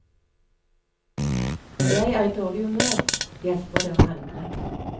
Når jeg er i dårlig humør, hjelper det å handle.